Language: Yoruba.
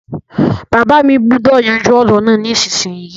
Bàbá mi gbúdọ̀ yanjú ọ̀rọ̀ náà nísinsinyì